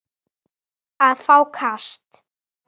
að fá kast